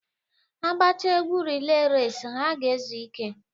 A gbachaa egwu reley resi, ha ga-ezu ike.